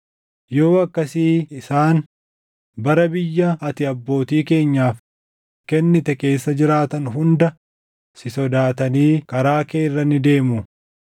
yoo akkasii isaan bara biyya ati abbootii keenyaaf kennite keessa jiraatan hunda si sodaatanii karaa kee irra ni deemu.